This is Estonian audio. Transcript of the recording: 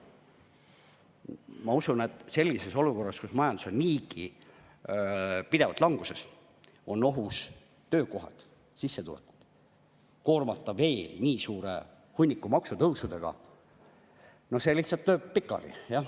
Ma usun, et sellises olukorras, kus majandus on niigi pidevalt languses, kus on ohus töökohad, sissetulekud, koormata veel nii suure hunniku maksutõusudega – no see lihtsalt lööb pikali.